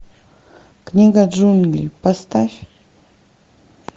книга джунглей поставь